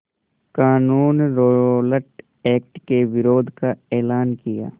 क़ानून Rowlatt Act के विरोध का एलान किया